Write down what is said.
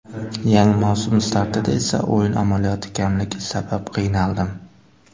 Yangi mavsum startida esa o‘yin amaliyoti kamligi sabab qiynaldim.